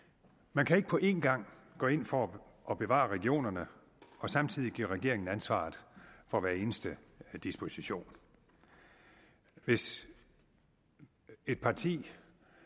man kan ikke på en gang gå ind for at bevare regionerne og samtidig give regeringen ansvaret for hver eneste disposition hvis et parti